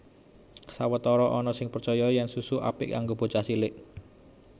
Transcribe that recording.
Sawetara ana sing percaya yèn susu apik kanggo bocah cilik